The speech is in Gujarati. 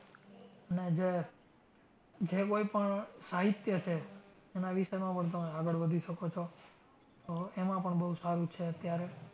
અને જે, જે કોઈ પણ સાહિત્ય છે એના વિષયમાં પણ તમે આગળ વધી શકો છો. એમાં પણ બઉ સારું છે.